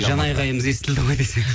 жан айқайымыз естілді ғой десең